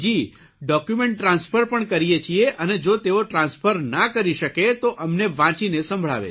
document transfer પણ કરીએ છીએ અને જો તેઓ ટ્રાન્સફર ના કરી શકે તો અમને વાંચીને સંભળાવે છે